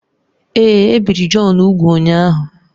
Èé, e biri Jọn úgwù ụnyahụ